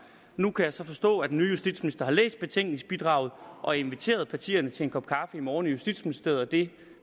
nu kan jeg så forstå at den nye justitsminister har læst betænkningsbidraget og inviteret partierne til en kop kaffe i morgen i justitsministeriet og det